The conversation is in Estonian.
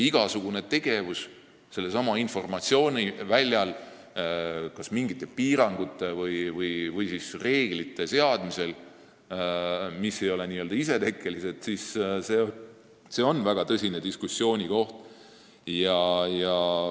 Igasugune tegevus sellelsamal informatsiooniväljal, kas mingite piirangute või reeglite seadmine, mis ei ole n-ö isetekkelised, on väga tõsine diskussioonikoht.